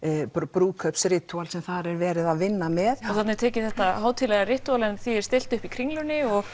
brúðkaups ritúal sem þar er verið að vinna með þarna er tekið þetta hátíðlega ritúal en því er stillt upp í Kringlunni og